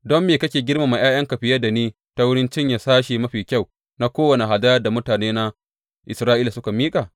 Don me kake girmama ’ya’yanka fiye da ni ta wurin cinye sashe mafi kyau na kowane hadayar da mutanena Isra’ila suka miƙa?’